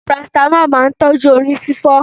Parasítámọ̀ máa tójú orí fífọ́.